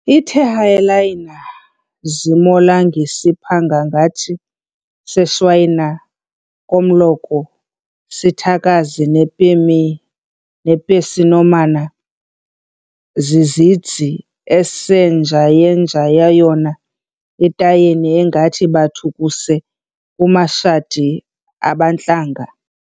iThehayelayina zimolangisiphangaphangi zeShwayana komloko sithakazi nePesin'omana zizidzi, esenjayenjayayona iTayeni engathi baphu kuse kumashadi abantlanga